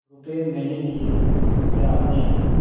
रुपये मैंने दिये या आपने